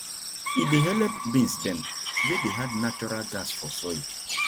e dey help beans dem wey dey add natural gas for soil